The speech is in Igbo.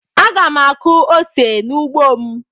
Aga m akụ ose n'ugbo m.